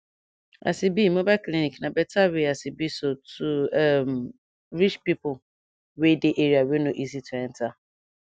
as e be mobile clinic na better way as e be so to um reach pipo wey dey area wey no easy to enta